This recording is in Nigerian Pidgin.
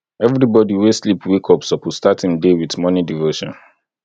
everybodi wey sleep wake up suppose start im day wit morning devotion